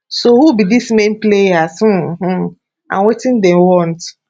so who be di main players um um and wetin dey want